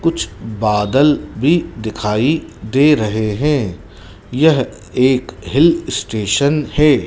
कुछ बदल भी दिखाई दे रहे हैं यह एक हिल स्टेशन है।